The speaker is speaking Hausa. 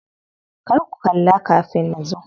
Kar ku kalla kafin nazo.